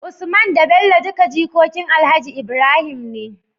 Usman da Bello duka jikokin alhaji Ibrahim ne